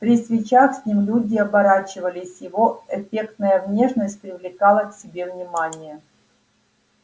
при встречах с ним люди оборачивались его эффектная внешность привлекала к себе внимание